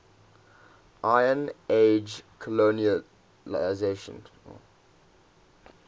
iron age colonisation